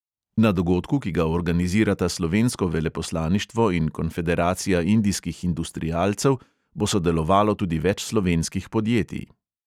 Na dogodku, ki ga organizirata slovensko veleposlaništvo in konfederacija indijskih industrialcev, bo sodelovalo tudi več slovenskih podjetij.